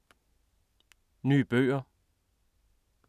Nye bøger